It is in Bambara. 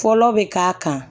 Fɔlɔ bɛ k'a kan